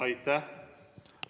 Aitäh!